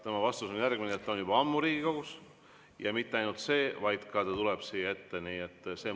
Tema vastus on järgmine, et ta on juba ammu Riigikogus, ja mitte ainult – ta tuleb ka siia ette.